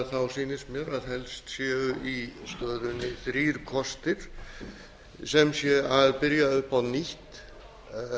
efninu sýnist mér að helst séu í stöðunni þrír kostir sem sé að byrja upp á nýtt